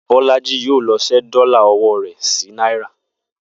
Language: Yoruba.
Bó̩̩lájí yóò lo̩ s̩é̩ dó̩là o̩wó̩ rè̩ sí náírà